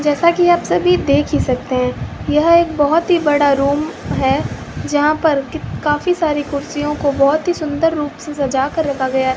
जैसा कि आप सभी देख ही सकते हैं यह एक बहोत ही बड़ा रूम है जहां पर की काफी सारी कुर्सियों को बहोत ही सुंदर रूप से सजाकर रखा गया --